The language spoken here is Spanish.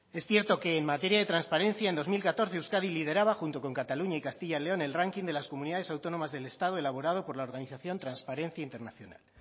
es cierto que en materia de transparencia en dos mil catorce euskadi lideraba junto con cataluña y castilla y león el ranking de las comunidades autónomas del estado elaborado por la organización transparencia internacional